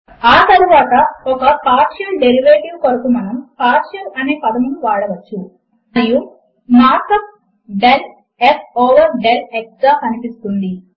ఆ తరువాత ఒక పార్షియల్ డేరివేటివ్ కొరకు మనము పార్షియల్ అనే పదమును వాడవచ్చు మరియు mark up del f over del x గా కనిపిస్తుంది